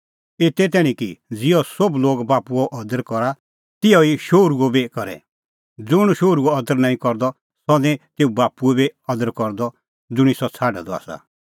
एते तैणीं कि ज़िहअ सोभ लोग बाप्पूओ अदर करा तिहअ ई शोहरूओ बी करे ज़ुंण शोहरूओ अदर नांईं करदअ सह निं तेऊ बाप्पूओ बी अदर करदअ ज़ुंणी सह छ़ाडअ द आसा